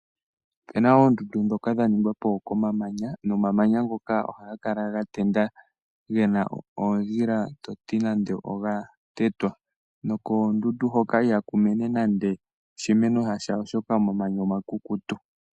Opena oondundu dhika dha ningwa po komamanya, nomamanya ngoka ohaga kala ga tenda gena oondjila toti nande oga tetwa, nokoondundu hoka ihaku mene nando oshimeno shasha.